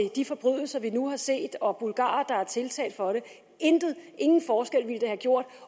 de forbrydelser vi nu har set og bulgarer der er tiltalt for dem intet ingen forskel ville det have gjort